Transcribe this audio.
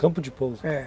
Campo de pouso? É.